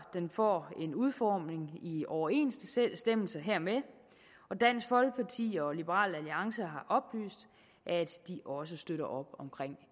får en udformning i overensstemmelse hermed og dansk folkeparti og liberal alliance har oplyst at de også støtter op om